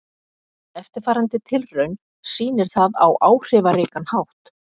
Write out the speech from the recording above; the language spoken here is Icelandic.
Eftirfarandi tilraun sýnir það á áhrifaríkan hátt.